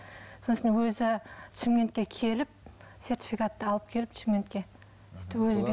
сосын өзі шымкентке келіп сертификатты алып келіп шымкентке